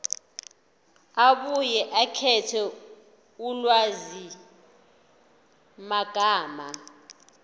abuye akhethe ulwazimagama